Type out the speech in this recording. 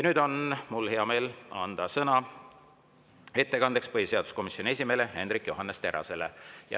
Nüüd on mul hea meel anda sõna ettekandeks põhiseaduskomisjoni esimehele Hendrik Johannes Terrasele.